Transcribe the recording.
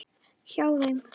Hjá þeim.